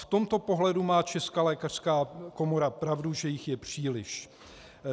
V tomto pohledu má Česká lékařská komora pravdu, že jich je příliš.